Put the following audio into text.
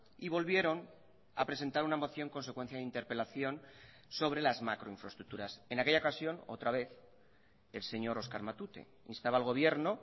y volvieron a presentar una moción con secuencia de interpelación sobre las macroinfraestructuras en aquella ocasión otra vez el señor oscar matute instaba al gobierno